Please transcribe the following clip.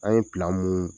An ye mun